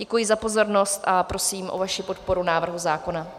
Děkuji za pozornost a prosím o vaši podporu návrhu zákona.